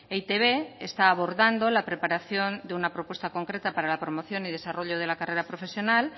e i te be está abordando la preparación de una propuesta concreta para la promoción y desarrollo de la carrera profesional